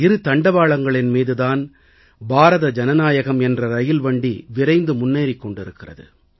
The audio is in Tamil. இந்த இரு தண்டவாளங்களின் மீது தான் பாரத ஜனநாயகம் என்ற ரயில்வண்டி விரைந்து முன்னேறிக் கொண்டிருக்கிறது